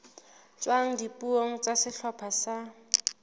tswang dipuong tsa sehlopha sa